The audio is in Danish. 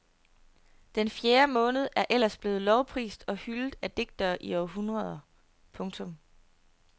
Den fjerde måned er ellers blevet lovprist og hyldet af digtere i århundreder. punktum